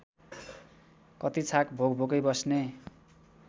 कति छाक भोकभोकै बस्ने